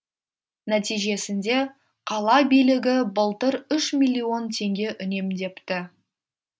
нәтижесінде қала билігі былтыр үш миллион теңге үнемдепті